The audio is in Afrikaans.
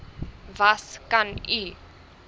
was kan u